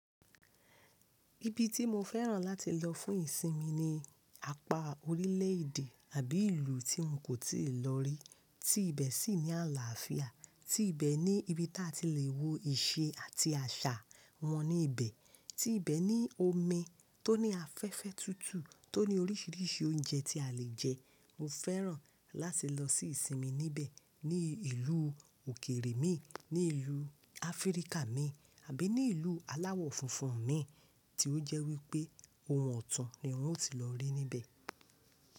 Ibi tí mo fẹ́ràn láti lọ fún ìsinmi ni apá orílẹ̀ èdè àbí ìlú tí n kò tíì lọ rí, tí ibẹ̀ sì ní àlàáfíà, tí ibẹ̀ ní ibi tí a ti le wo ìṣe àti àṣà wọn ní ibẹ̀, tí ibẹ̀ ní omi tó ní afẹ́fẹ́ tútù, tó ní orísìírísìí oúnjẹ tí a le jẹ. Mo fẹ́ràn láti lọ sí ìsinmi níbẹ̀, ní ìlú òkèrè mi, ní ìlú Áfríkà mi àbí ní ìlú aláwọ̀ funfun mi, tí ó jẹ́ wípé ohun ọ̀tún ni wọn ó ti lọ rí níbẹ̀.